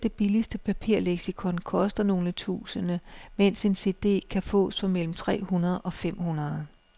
Selv det billigste papirleksikon koster nogle tusinde, mens en cd kan fås for mellem tre hundrede og fem hundrede.